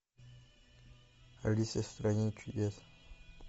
алиса в стране чудес